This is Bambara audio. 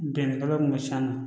Bɛnkan kun bɛ siyan na